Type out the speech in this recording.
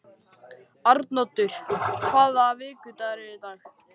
Arnoddur, hvaða vikudagur er í dag?